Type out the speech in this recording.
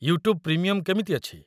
YouTube premium କେମିତି ଅଛି?